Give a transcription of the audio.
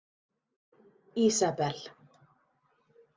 Ísabel